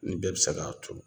Ni bɛɛ bi se k'a turu